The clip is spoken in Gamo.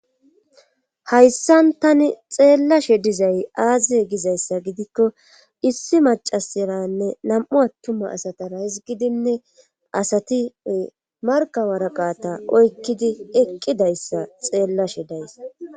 hayssan tani xeellashe dizay aaziye gizayssa gidikko issi macasaranne nam7u attuma asatara hisgidinne asatiy markawaraqata oykkidi eqqidayssa xeellashe days